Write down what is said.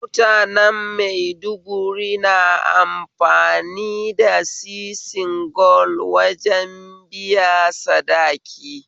Mutanen maiduguri na amfani da sisin gwal wajen biya sadaki